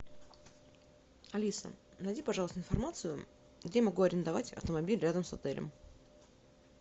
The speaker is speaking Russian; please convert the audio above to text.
алиса найди пожалуйста информацию где я могу арендовать автомобиль рядом с отелем